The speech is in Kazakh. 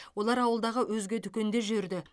олар ауылдағы өзге дүкенде жүрді